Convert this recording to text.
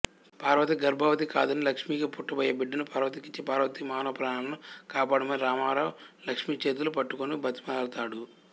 పార్వతి గర్భవతి కాదని లక్ష్మికి పుట్టబోయే బిడ్డను పార్వతికిచ్చి పార్వతి మానప్రాణాలను కాపాడమని రామారావు లక్ష్మి చేతులు పట్టుకొని బ్రతిమాలతాడు